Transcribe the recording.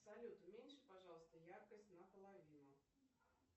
салют уменьши пожалуйста яркость наполовину